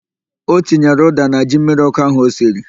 O tinyere ụ́dà na ji mmiriọ́kụ́ ahụ o siri.